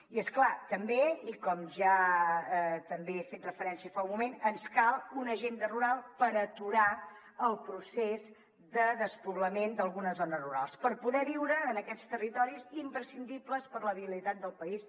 i és clar també i com ja hi he fet referència fa un moment ens cal una agenda rural per aturar el procés de despoblament d’algunes zones rurals per poder viure en aquests territoris imprescindibles per a la viabilitat del país